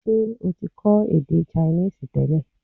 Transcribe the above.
Ṣé o ti kọ́ èdè Chinese tẹ́lẹ̀?